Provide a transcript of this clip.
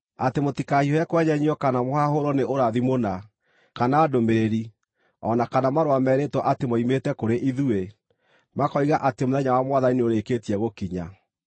atĩ mũtikahiũhe kwenyenyio kana mũhahũrwo nĩ ũrathi mũna, kana ndũmĩrĩri, o na kana marũa merĩtwo atĩ moimĩte kũrĩ ithuĩ, makoiga atĩ mũthenya wa Mwathani nĩũrĩkĩtie gũkinya.